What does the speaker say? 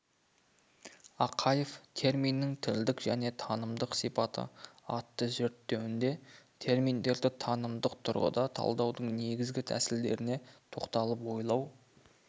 ақаев терминнің тілдік және танымдық сипаты атты зерттеуінде терминдерді танымдық тұрғыда талдаудың негізгі тәсілдеріне тоқталып ойлау